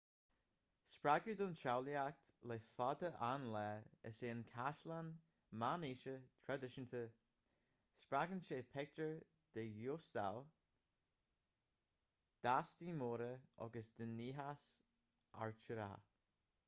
spreagadh don tsamhlaíocht le fada an lá is ea an caisleán meánaoiseach traidisiúnta spreagann sé pictiúir den ghiústáil d'fhéastaí móra agus den niachas artúrach